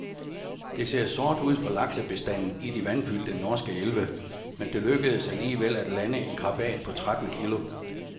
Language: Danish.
Det ser sort ud for laksebestanden i de vandfyldte norske elve, men det lykkedes alligevel at lande en krabat på tretten kilo.